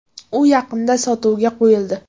U yaqinda sotuvga qo‘yildi.